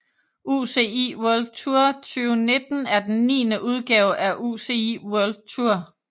UCI World Tour 2019 er den niende udgave af UCI World Tour